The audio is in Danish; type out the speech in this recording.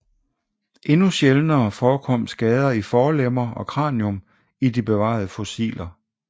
Endnu sjældnere forekom skader i forlemmer og kranium i de bevarede fossiler